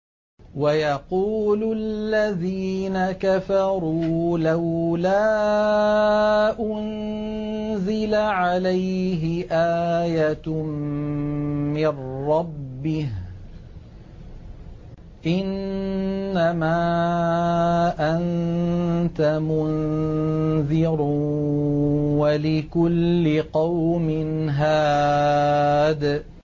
وَيَقُولُ الَّذِينَ كَفَرُوا لَوْلَا أُنزِلَ عَلَيْهِ آيَةٌ مِّن رَّبِّهِ ۗ إِنَّمَا أَنتَ مُنذِرٌ ۖ وَلِكُلِّ قَوْمٍ هَادٍ